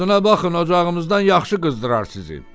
Dadına baxın, ocağımızdan yaxşı qızdırar sizi."